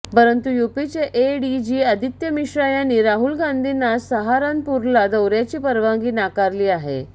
परंतु यूपीचे एडीजी आदित्य मिश्रा यांनी राहुल गांधींना सहारनपूरला दौऱ्याची परवानगी नाकारली आहे